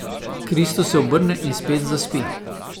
Kristo se obrne in spet zaspi.